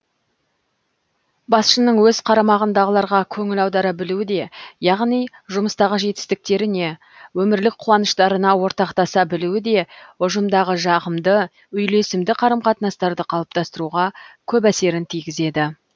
басшының өз қарамағындағыларға көңіл аудара білуі де яғни жұмыстағы жетістіктеріне өмірлік қуаныштарына ортақтаса білуі де ұжымдағы жағымды үйлесімді қарым қатынастарды қалыптастыруға көп әсерін тигізеді